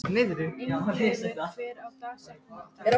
Ingileifur, hver er dagsetningin í dag?